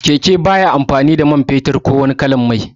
Keke baya amfani da man fetur ko wani kalan mai